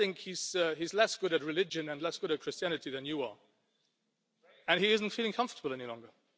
I do not think he is less good at religion and less good at Christianity than you are, and he is not feeling comfortable any longer.